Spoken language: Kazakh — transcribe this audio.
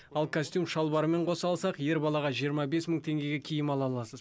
ал костюм шалбарымен қоса алсақ ер балаға жиырма бес мың теңгеге киім ала аласыз